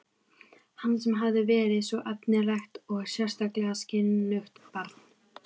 Hann sem hafði verið svo efnilegt og sérstaklega skynugt barn.